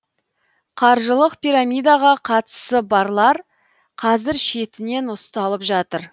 қаржылық пирамидаға қатысы барлар қазір шетінен ұсталып жатыр